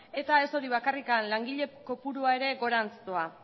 eta ez hori bakarrik langile kopurua ere gorantz doa